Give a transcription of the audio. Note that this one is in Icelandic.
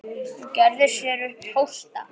Hún gerði sér upp hósta.